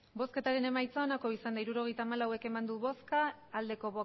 hirurogeita hamalau eman dugu bozka